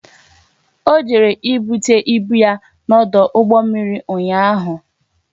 O jere ibute ibu ya n'ọdụ ụgbọ mmiri ụnyaahụ